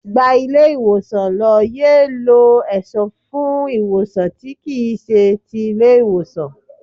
Gba ilé ìwòsàn lọ, yéé lọ èso fún ìwòsàn tí kì í ṣe ti ilé ìwòsàn.